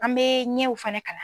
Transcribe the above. An bee ɲɛw fɛnɛ kalan